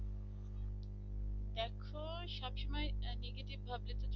দেখো সব সময় negative ভাবলে তো চলবেনা